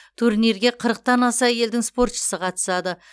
турнирге қырықтан аса елдің спортшысы қатысады